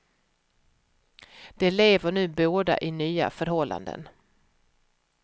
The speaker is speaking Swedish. De lever nu båda i nya förhållanden.